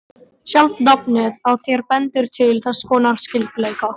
Sjálft nafnið á þér bendir til þess konar skyldleika.